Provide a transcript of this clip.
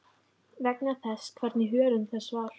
vegna þess hvernig hörund þess var.